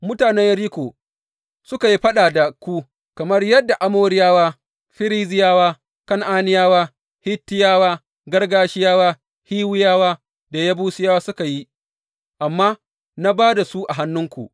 Mutanen Yeriko suka yi faɗa da ku, kamar yadda Amoriyawa, Ferizziyawa, Kan’aniyawa, Hittiyawa, Girgashiyawa, Hiwiyawa, da Yebusiyawa suka yi, amma na ba da su a hannunku.